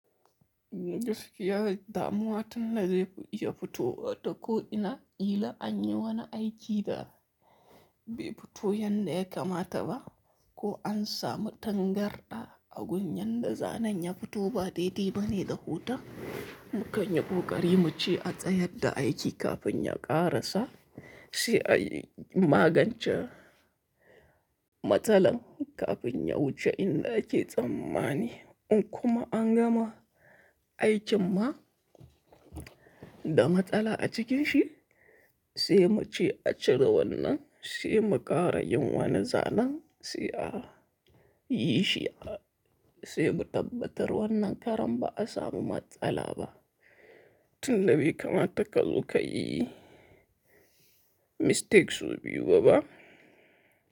Gaskiya dai damuwa tana da yafi iya fito wa ta ko'ina, gila anyi wani aiki da bai fito yadda ya kamata ba ko an samu tangarɗa a gun yadda zanen ya fito ba dai diba ne da huta. Mu kanyi ƙoƙari mu ce a tsayar da aiki kafin ya ƙarasa, sai a yi magance matsalar kafin ya wuce inda ake tsammani. In kuma an gama aikin ma da matsala a cikin shi sai mu ce a cire wannan, sai mu ƙara yin wani zanen sai a yi shi, sai mu tabbatar wannan karam ba'a samu matsala ba. Tun da bai kamata ka zo ka yi mistakes sau biyu ba ba.